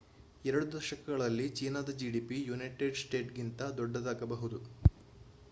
ಎರಡು ದಶಕಗಳಲ್ಲಿ ಚೀನಾದ ಜಿಡಿಪಿ ಯುನೈಟೆಡ್ ಸ್ಟೇಟಿಗಿಂತ ದೊಡ್ಡದಾಗಬಹುದು